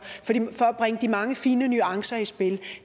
at bringe de mange fine nuancer i spil